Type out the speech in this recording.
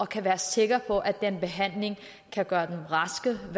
kan være sikre på at behandlingen kan gøre dem raske og